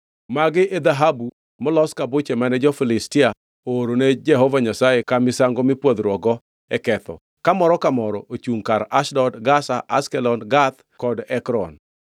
Magi e dhahabu molos ka buche mane jo-Filistia oorone Jehova Nyasaye ka misango mipwodhruokgo e ketho ka moro ka moro ochungʼ kar Ashdod, Gaza, Ashkelon, Gath kod Ekron.